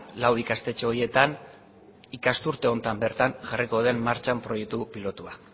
lau ikastetxe horietan ikasturte honetan bertan jarriko den martxan proiektu pilotua